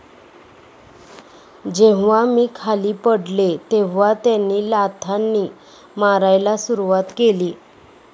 जेव्हा मी खाली पडले तेव्हा त्यांनी लाथांनी मारायला सुरुवात केली.